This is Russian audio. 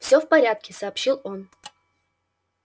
всё в порядке сообщил он